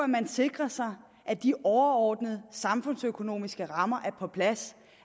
man sikrer sig at de overordnede samfundsøkonomiske rammer er på plads